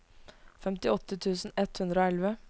femtiåtte tusen ett hundre og elleve